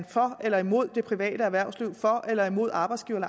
for eller imod det private erhvervsliv for eller imod arbejdsgivere